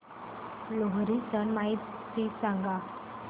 लोहरी सण माहिती सांगा